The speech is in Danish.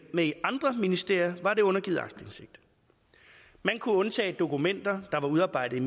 med andre ministerier var det undergivet aktindsigt man kunne undtage dokumenter der var udarbejdet